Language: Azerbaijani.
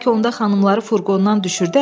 Bəlkə onda xanımları furqondan düşürdək?